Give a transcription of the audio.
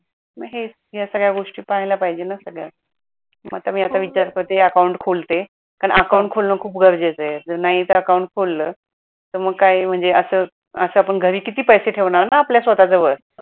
मग हेच या सगळ्या गोष्टी पाहायला पाहिजे न सगळ्या मग आता मी आता विचार करते account खोलते कारण account खोलन खूप गरजेच आहे जर नाहीच account खोलल तर काही म्हणजे अस अस आपण घरी किती पैसे ठेवणार न आपल्या स्वतःच्या जवळ